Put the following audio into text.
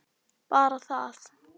Bara það?